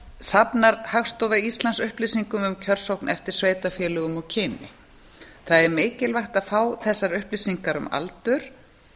safnar hagstofa íslands upplýsingum um kjörsókn eftir sveitarfélögum og kyni það er mikilvægt að fá þessar upplýsingar um aldur